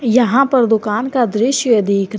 यहां पर दुकान का दृश्य दिख रा--